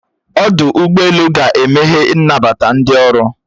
Ọdụ ụgbọelu ga-emehe nnabata ndi ọrụ